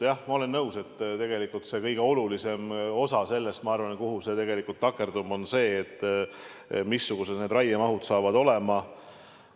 Jah, ma olen nõus, et tegelikult see kõige olulisem osa, ma arvan, takerdub sinna, missugused need raiemahud saavad olema.